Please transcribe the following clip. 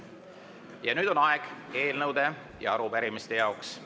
Ja nüüd on aeg eelnõude ja arupärimiste üleandmiseks.